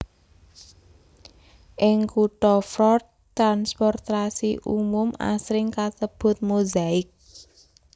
Ing kutha Fort transportasi umum asring kasebut Mozaik